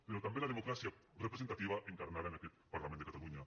però també la democràcia representativa encarnada en aquest parlament de catalunya